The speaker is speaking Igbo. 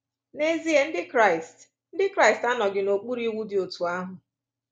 N’ezie, Ndị Kraịst Ndị Kraịst anọghị n’okpuru iwu dị otú ahụ.